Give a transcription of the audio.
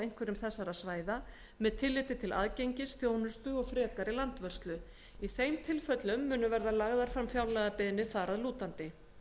einhverjum þessara svæða með tilliti til aðgengis þjónustu og frekari landvörslu í þeim tilfellum munu verða lagðar fram fjárlagabeiðnir þar að lútandi